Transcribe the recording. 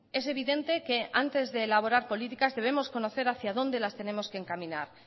es evidente que antes de elaborar políticas debemos conocer hacia dónde las tenemos que encaminar